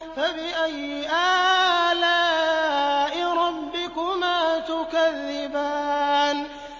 فَبِأَيِّ آلَاءِ رَبِّكُمَا تُكَذِّبَانِ